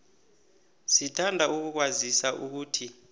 sithanda ukukwazisa ukuthi